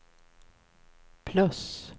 plus